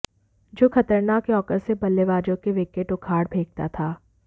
जो खतरनाक यार्कर से बल्लेबाजों के विकेट उखाड़ फेंकता था